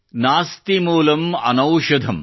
नास्ति मूलम् अनौषधम् ||